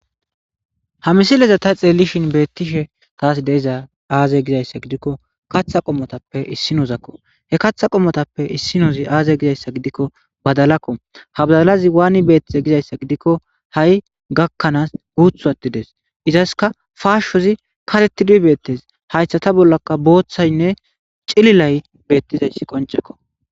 Ha misileza ta xeellishin beettishe taas deiza aaze gizayssa gidikko katha qommotappe issinozakko he katha qommotappe issinozi aaze gizayssa gidikko badalakko ha badalazi waani beettize gizayssa gidikko ha7i gakkanaas guuthu attides izaska faashshozi katettidu beettes haystha ta bollaka booththaynne cililay beettizei qoncekko.